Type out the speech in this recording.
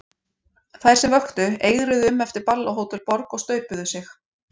Þær sem vöktu eigruðu um eftir ball á Hótel Borg, og staupuðu sig.